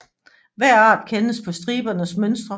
Hver art kendes på stribernes mønstre